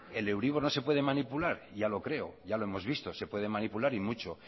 el euribor no se puede manipular ya lo creo ya lo hemos visto se puede manipular y mucho